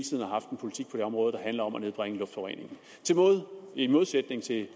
politik område der handler om at nedbringe luftforureningen i modsætning til